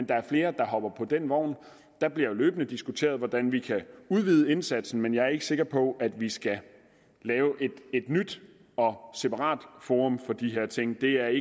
der er flere der hopper på den vogn der bliver jo løbende diskuteret hvordan vi kan udvide indsatsen men jeg er ikke sikker på at vi skal lave et nyt og separat forum for de her ting det er